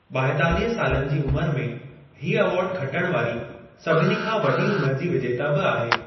ॿाहेतालिह सालनि जी उमिर में, हीउ अवार्ड खटणु वारी सभिनी खां वॾी उमर जी विजेता बि आहे।